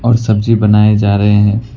और सब्जी बनाए जा रहे हैं।